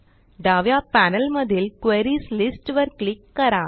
डाव्या पॅनेलमधील क्वेरीज listवर क्लिक करा